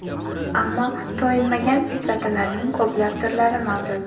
Ammo to‘yinmagan kislotalarning ko‘plab turlari mavjud.